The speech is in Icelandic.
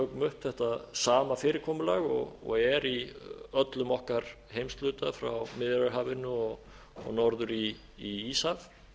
tökum upp þetta sama fyrirkomulag og er í öllum okkar heimshluta frá miðjarðarhafinu og norður í íshaf